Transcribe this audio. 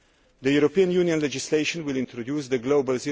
The European Union legislation will introduce the global